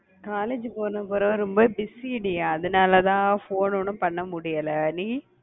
college போன பிறகு ரொம்ப busy டி. அதனாலதான் phone ஒண்ணும் பண்ண முடியலை. நீ?